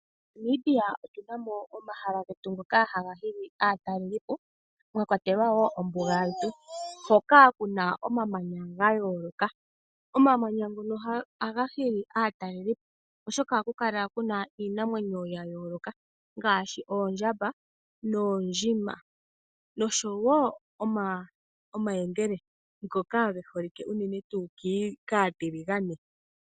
MoNamibia otuna mo omahala getu ngoka haga hili aatalelipo , mwakwatelwa wo ombuga yetu hoka kuna omamanya gayooloka. Omamanya ngono ohaga hili aatalelipo oshoka ohaku kala kuna iinamwenyo yayoolokathana ngaashi oondjamba noondjima noshowoo omayengele ngoka ge holike unene kaatalelipo.